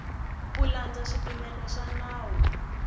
ku landza swipimelo swa nawu